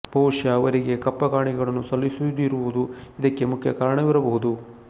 ಬಹುಶಃ ಅವರಿಗೆ ಕಪ್ಪ ಕಾಣಿಕೆಗಳನ್ನು ಸಲ್ಲಿಸದಿರುವುದು ಇದಕ್ಕೆ ಮುಖ್ಯ ಕಾರಣವಿರಬಹುದು